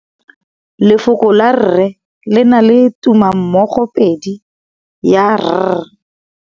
Lefoko la rre le na le tumammogôpedi ya, r.